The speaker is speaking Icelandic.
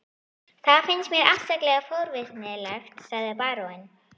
Það finnst mér afskaplega forvitnilegt, sagði baróninn.